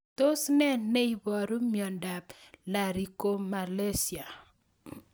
Tos nee neiparu miondop Laryngomalacia?